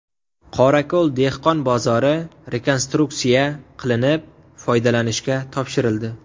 Qorako‘l dehqon bozori rekonstruksiya qilinib, foydalanishga topshirildi.